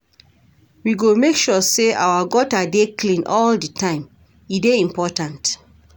We go make sure sey our gutter dey clean all di time, e dey important.